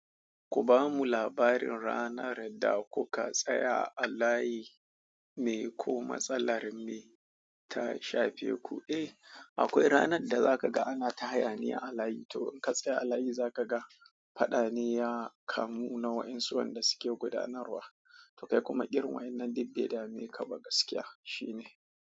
Ku bamu labarin ranar da kuka tsaya a layi me ko matsalar me ta shafe ku? Eh, akwai ranar da zaka ga ana ta hayaniya a layi to in ka tsaya a layi zaka ga fadane ya kamu na wa ensu wanda suke gudanarwa to kai kuma irin wannan dibbe da me kaba gaskiya shine.